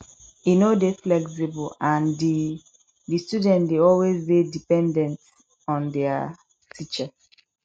e no dey flexible and di di students dey always dey dependent on their teacher